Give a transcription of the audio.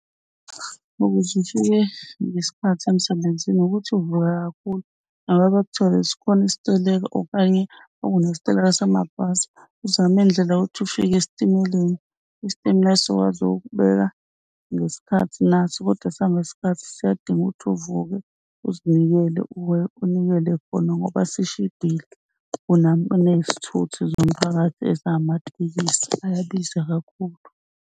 Ukuze ufike ngesikhathi emsebenzini ukuthi uvuke kakhulu noma ngabe bekuthiwe sikhona isiteleka okanye kunesiteleka samabhasi uzame indlela yokuthi ufike esitimeleni. Isitimela sizokwazi ukukubeka ngesikhathi naso kodwa sihamba ngesikhathi siyadinga ukuthi uvuke uzinikele, unikele khona ngoba sishibhile kunezithuthi zomphakathi ezifana namatekisi. Ayabiza kakhulu.